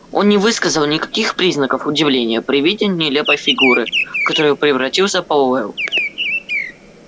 он не высказал никаких признаков удивления при виде нелепой фигуры в которую превратился пауэлл